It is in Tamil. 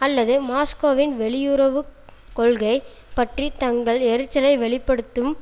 அல்லது மாஸ்கோவின் வெளியுறவு கொள்கை பற்றி தங்கள் எரிச்சலை வெளி படுத்தும்